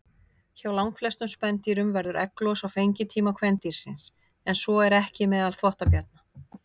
Hjá langflestum spendýrum verður egglos á fengitíma kvendýrsins, en svo er ekki meðal þvottabjarna.